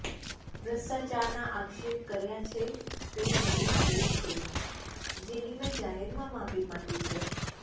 ભ્રષ્ટાચારનાં આક્ષેપ કર્યા છે તે મારી ભુલ છે જેની મે જાહેરમાં માફી માંગી છે